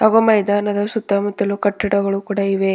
ಹಾಗು ಮೈದಾನದ ಸುತ್ತಾ ಮುತ್ತಲೂ ಕಟ್ಟಡಗಳು ಕೂಡ ಇವೆ.